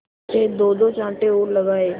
से दोदो चांटे और लगाए